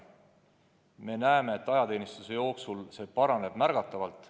Ja me näeme, et ajateenistuse jooksul see paraneb märgatavalt.